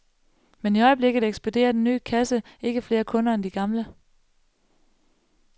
Men i øjeblikket ekspederer den nye kasse ikke flere kunder end de gamle.